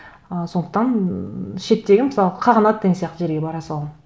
ы сондықтан ммм шеттегі мысалы қағанат деген сияқты жерге бара саламын